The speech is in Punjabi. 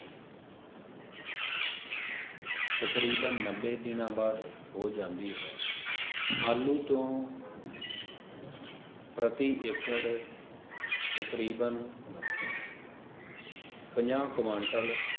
ਤਕਰੀਬਨ ਨੱਬੇ ਦਿਨ ਬਾਅਦ ਹੋ ਜਾਂਦੀ ਹੈ ਆਲੂ ਤੋਂ ਪ੍ਰਤੀ ਏਕੜ ਤਕਰੀਬਨ ਪੰਜਾਹ ਕਵੰਤਲ,